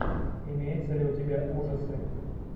имеется ли у тебя ужасы